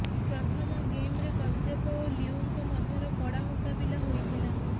ପ୍ରଥମ ଗେମ୍ରେ କଶ୍ୟପ ଓ ଲିଉଙ୍କ ମଧ୍ୟର କଡ଼ା ମୁକାବିଲା ହୋଇଥିଲା